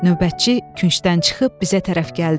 Növbətçi küncdən çıxıb bizə tərəf gəldi.